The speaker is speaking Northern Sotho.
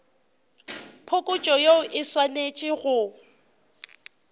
phokotšo yeo e swanetše go